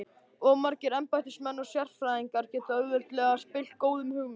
Of margir embættismenn og sérfræðingar geta auðveldlega spillt góðum hugmyndum.